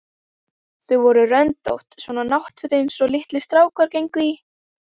Þau voru röndótt, svona náttföt einsog litlir strákar gengu í.